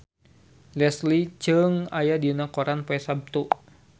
Leslie Cheung aya dina koran poe Saptu